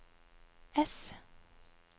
ess